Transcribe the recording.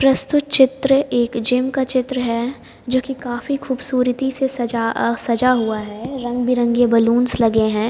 प्रस्तुत चित्र एक जिम का चित्र है जो कि काफी खूबसूरती से सजा अ सजा हुआ है रंगबेरंगे बैलूस लगे हैं।